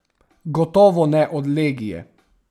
Gotovo ne od legije.